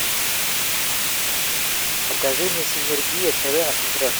покажи мне синергия тв на смотрешке